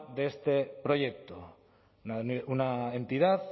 de este proyecto una entidad